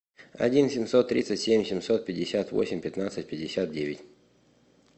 один семьсот тридцать семь семьсот пятьдесят восемь пятнадцать пятьдесят девять